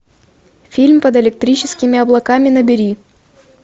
фильм под электрическими облаками набери